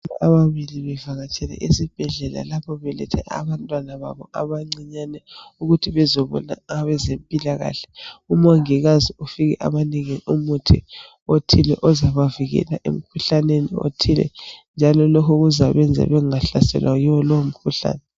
Ababili bevakatshele esibhedlela lapho belethe abantwana babo abancinyane ukuthi bezebona abezmpilakahle. Umongikazi ufike abanike umuthi othile ozabavikela emkhuhlaneni othile njalo lokho kuzakwenza bengahlaselwa yiwo lowo mkhuhlane